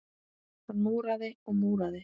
Hann múraði og múraði.